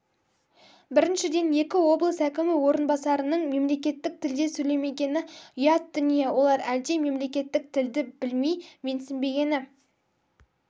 біріншіден екі облыс әкімі орынбасарының мемлекеттік тілде сөйлемегені ұят дүние олар әлде мемлекеттік тілді білмей менсінбегені